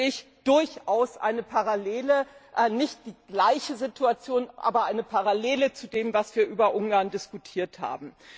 Da sehe ich durchaus eine Parallele, nicht die gleiche Situation, aber eine Parallele zu dem, was wir über Ungarn diskutiert haben.